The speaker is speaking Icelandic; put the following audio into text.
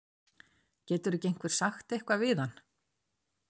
Getur ekki einhver sagt eitthvað við hann?